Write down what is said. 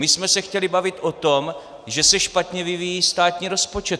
My jsme se chtěli bavit o tom, že se špatně vyvíjí státní rozpočet.